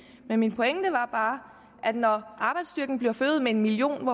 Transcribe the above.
men min pointe var bare at når arbejdsstyrken bliver forøget med en million